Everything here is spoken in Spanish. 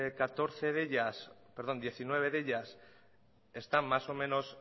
catorce de ellas perdón diecinueve de ellas están más o menos